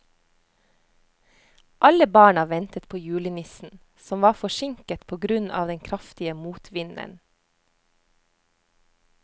Alle barna ventet på julenissen, som var forsinket på grunn av den kraftige motvinden.